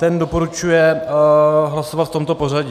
Ten doporučuje hlasovat v tomto pořadí: